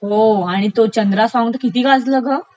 हो ..आणि तो चंद्रा सॉंग तर किती गाजलं ग!